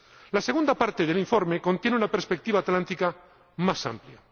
La segunda parte del informe contiene una perspectiva atlántica más amplia.